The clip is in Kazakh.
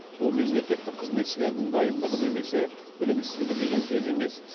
бұл мемлекеттік қызметшілердің дайындығы немесе білімсіздігі деген сөз емес